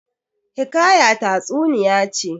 Hiƙaya tatsuniya ce.